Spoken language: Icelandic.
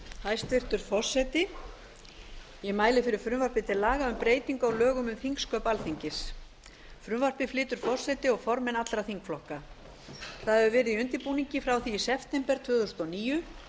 hæstvirtur forseti ég mæli fyrir frumvarpi til laga um breytingu á lögum um þingsköp alþingis frumvarpið flytja forseti og formenn allra þingflokka það hefur verið í undirbúningi frá því í september tvö þúsund og níu